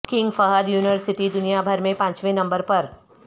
king Fahd university دنیا بھر میں پانچویں نمبر پر